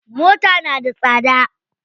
Mota na da tsada.